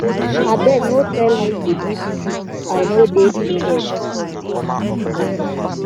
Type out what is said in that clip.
abeg no tell me to give speech i no dey prepared